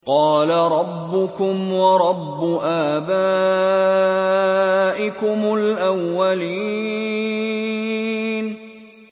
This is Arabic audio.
قَالَ رَبُّكُمْ وَرَبُّ آبَائِكُمُ الْأَوَّلِينَ